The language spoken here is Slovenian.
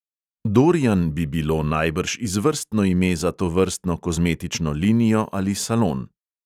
Dorian bi bilo najbrž izvrstno ime za tovrstno kozmetično linijo ali salon.